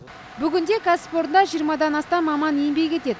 бүгінде кәсіпорында жиырмадан астам маман еңбек етеді